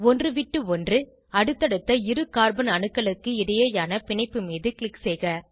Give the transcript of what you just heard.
ஒன்றுவிட்டு ஒன்று அடுத்தடுத்த இரு கார்பன் அணுக்களுக்கு இடையேயான பிணைப்பு மீது க்ளிக் செய்க